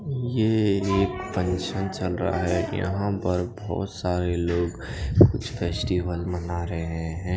ये एक फंक्शन चल रहा हे यहाँ पर बहोत सारे लोग कुछ फस्तिवेल मना रहे हैं।